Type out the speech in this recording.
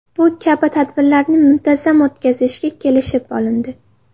Bu kabi tadbirlarni muntazam o‘tkazishga kelishib olindi.